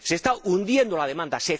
Se está hundiendo la demanda